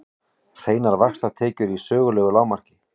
Hreinar vaxtatekjur í sögulegu lágmarki